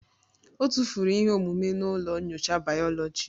Ọ tụfuru ihe omume na ụlọ nyocha bayoloji